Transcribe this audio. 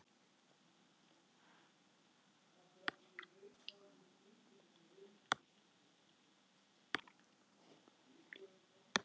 Ung þjóð